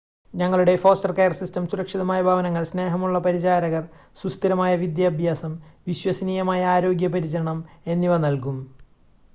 ഞങ്ങളുടെ foster care system സുരക്ഷിതമായ ഭവനങ്ങൾ സ്നേഹമുള്ള പരിചാരകർ സുസ്ഥിരമായ വിദ്യാഭ്യാസം വിശ്വസനീയമായ ആരോഗ്യ പരിചരണം എന്നിവ നൽകും